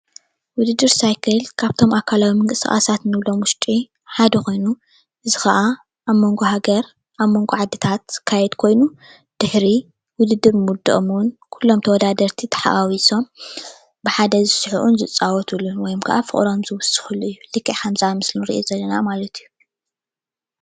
ውድድር ሳይክል ካብቶም ኣካላዊ ምንቅስቃሳት እንብሎም ውሽጢ ሓደ ኮይኑ እዚ ከዓ ኣብ ሞንጎ ሃገር ኣብ ሞንጎ ዓድታት ዝካየድ ኮይኑ ድሕሪ ውድድር ምውደኦም እውን ኩሎም ተወዳደርቲ ተሓዋዊሶም ብሓደ ዝስሕቁን ዝፃወትሉን ወይ ከዓ ፍቅሮም ዝውስክሉን እዩ፡፡ ልክዕ ከምዚ ኣብ ምስሊ እንሪኦ ዘለና ማለት እዩ፡፡